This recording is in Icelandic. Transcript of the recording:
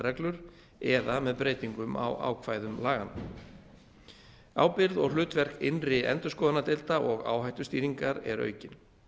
reglur eða með breytingum á ákvæðum laganna ábyrgð og hlutverk innri endurskoðunardeilda og áhættustýringar er aukin